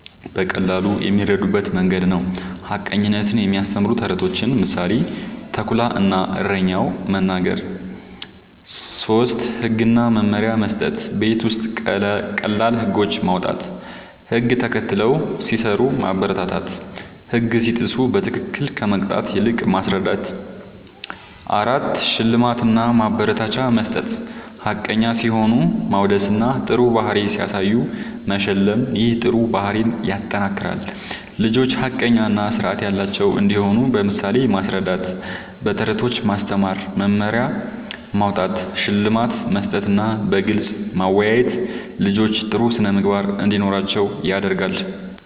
በቀላሉ የሚረዱበት መንገድ ነዉ። ሐቀኝነትን የሚያስተምሩ ተረቶችን (ምሳሌ፦ “ተኩላ እና እረኛው”) መናገር። ፫. ህግ እና መመሪያ መስጠት፦ ቤት ውስጥ ቀላል ህጎች ማዉጣት፣ ህግ ተከትለው ሲሰሩ ማበረታታትና ህግ ሲጥሱ በትክክል ከመቅጣት ይልቅ ማስረዳት ፬. ሽልማት እና ማበረታቻ መስጠት፦ ሐቀኛ ሲሆኑ ማወደስና ጥሩ ባህሪ ሲያሳዩ መሸለም ይህ ጥሩ ባህሪን ያጠናክራል። ልጆች ሐቀኛ እና ስርዓት ያላቸው እንዲሆኑ በምሳሌ ማስረዳት፣ በተረቶች ማስተማር፣ መመሪያ ማዉጣት፣ ሽልማት መስጠትና በግልጽ ማወያየት ልጆች ጥሩ ስነ ምግባር እንዲኖራቸዉ ያደርጋል